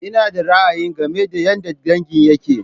Ina da ra'ayi game da yadda dangin yakke.